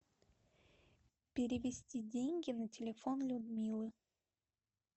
перевести деньги на телефон людмилы